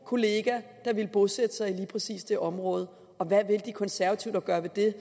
kolleger ville bosætte sig i lige præcis det område hvad vil de konservative dog gøre ved det